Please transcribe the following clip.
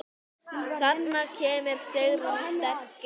Þarna kemur Sigrún sterk inn.